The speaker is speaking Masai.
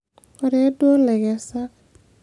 koree duo ilaikesak?